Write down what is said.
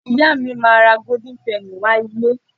Ìyá mi máa ra golden Penny wá ilé